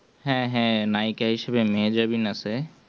হ্যাঁ হ্যাঁ নায়িকা হিসেবে মেহেজাবিন আছে